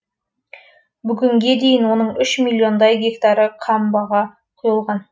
бүгінге дейін оның үш миллиондай гектары қамбаға құйылған